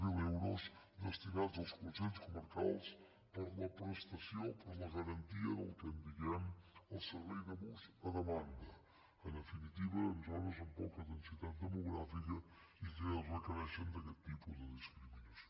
zero euros destinats als consells comarcals per a la prestació per a la garantia del que en diem el servei de bus a demanda en definitiva en zones amb poca densitat demogràfica i que requereixen aquest tipus de discriminació